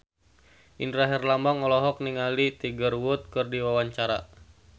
Indra Herlambang olohok ningali Tiger Wood keur diwawancara